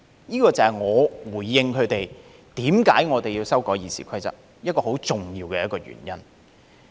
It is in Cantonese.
這個就是我回應他們為何我們要修改《議事規則》一個很重要的原因。